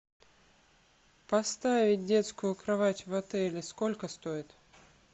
поставить детскую кровать в отеле сколько стоит